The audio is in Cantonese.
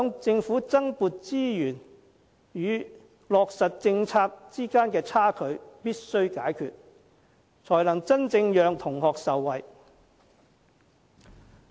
政府必須解決在增撥資源與落實政策之間的差距，才能真正讓同學受惠。